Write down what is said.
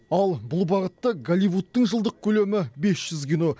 ал бұл бағытта голливудтың жылдық көлемі бес жүз кино